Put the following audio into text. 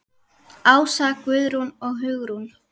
Ása, Guðrún og Hugrún.